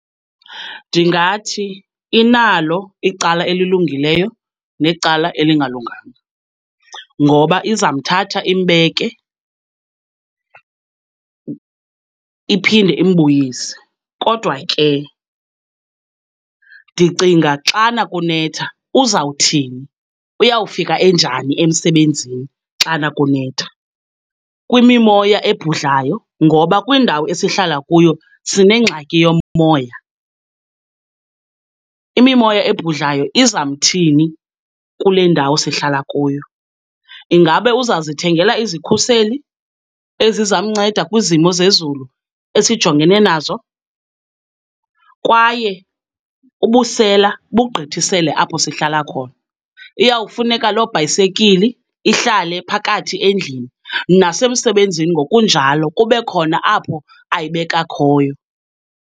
Ndingathi inalo icala elilungileyo necala elingalunganga ngoba izawumthatha imbeke iphinde imbuyise. Kodwa ke ndicinga xana kunetha uzawuthini, uyawufika enjani emsebenzini xana kunetha? Kwimimoya ebhudlayo, ngoba kwindawo esihlala kuyo sinengxaki yomoya, imimoya ebhudlayo izamthini kule ndawo sihlala kuyo? Ingabe uzawuzithengela izikhuseli ezizamnceda kwizimo zezulu esijongene nazo? Kwaye ubusela bugqithisele apho sihlala khona, iyawufuneka loo bhayisekili ihlale phakathi endlini, nasemsebenzini ngokunjalo kube khona apho ayibeka khoyo.